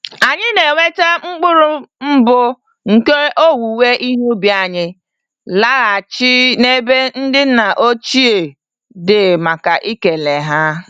Anyị na-eweta mkpụrụ mbụ nke owuwe ihe ubi anyị laghachi n'ebe ndị nna ochie dị màkà ikele ha